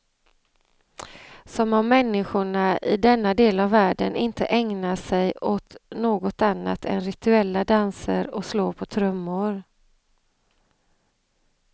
Som om människorna i denna del av världen inte ägnar sig åt något annat än rituella danser och slå på trummor.